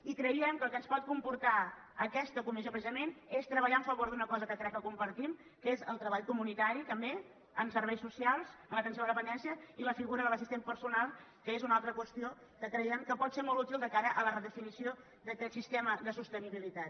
i creiem que el que ens pot comportar aquesta comissió precisament és treballar en favor d’una cosa que crec que compartim que és el treball comunitari també en serveis socials en atenció a la dependència i la figura de l’assistent personal que és una altra qüestió que creiem que pot ser molt útil de cara a la redefinició d’aquest sistema de sostenibilitat